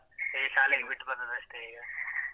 ಈಗ ಶಾಲೆಗೆ ಬಿಟ್ ಬಂದದಷ್ಟೇ ಈಗ .